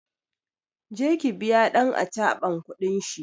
Je ki biya ɗan acaban kudin shi!